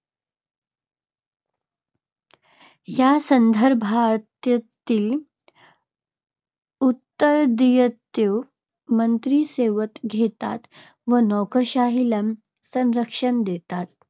या संदर्भातील उत्तरदायित्व मंत्री स्वतः घेतात व नोकरशाहीला संरक्षण देतात.